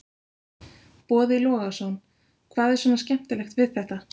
Boði Logason: Hvað er svona skemmtilegt við þetta?